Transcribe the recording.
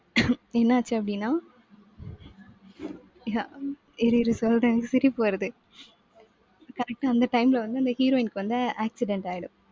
என்னாச்சு அப்படின்னா இரு இரு சொல்றேன் எனக்கு சிரிப்பு வருது. correct ஆ அந்த time ல வந்து அந்த heroine க்கு வந்து accident ஆயிடும்.